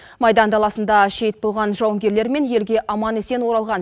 майдан даласында шейіт болған жауынгерлер мен елге аман есен оралған